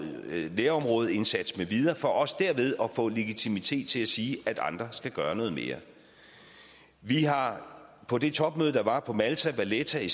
nærområdeindsats med videre for også derved at få legitimitet til at sige at andre skal gøre noget mere vi har på det topmøde der var på malta i valletta